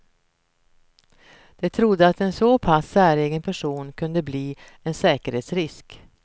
De trodde att en så pass säregen person kunde bli en säkerhetsrisk.